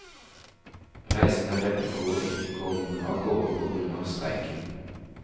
Reisende er redde for ikke å komme av gårde på grunn av streiken.